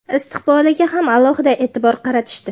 istiqboliga ham alohida e’tibor qaratishdi.